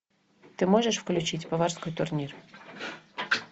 ты можешь включить поварской турнир